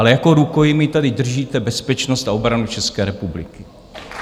Ale jako rukojmí tady držíte bezpečnost a obranu České republiky.